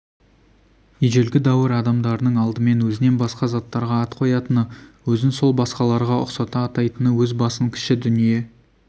ежелгі дәуір адамдарының алдымен өзінен басқа заттарға ат қоятыны өзін сол басқаларға ұқсата атайтыны өз басын кіші дүние